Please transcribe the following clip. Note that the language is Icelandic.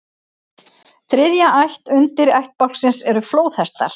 Þriðja ætt undirættbálksins eru flóðhestar.